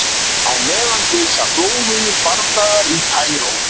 Á meðan geisa blóðugir bardagar í Kaíró.